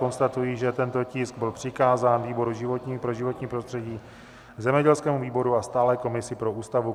Konstatuji, že tento tisk byl přikázán výboru pro životní prostředí, zemědělskému výboru a stálé komisi pro Ústavu.